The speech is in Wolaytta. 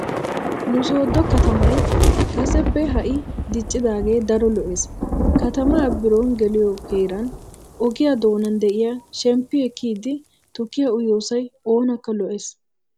Nu sooddo katamay kaseppe ha"i diccidaagee daro lo'ees. Katamaa birooni geliyo heern ogiya doonan de'iya shemppi ekkiiddi tukkiya uyiyoosay oonakka lo'ees.